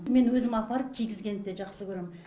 мен өзім апарып кигізгенді де жақсы көрем